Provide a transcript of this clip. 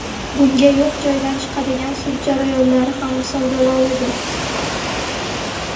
Bunga yo‘q joydan chiqadigan sud jarayonlari ham misol bo‘la oladi.